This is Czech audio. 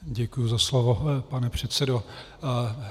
Děkuji za slovo, pane předsedo.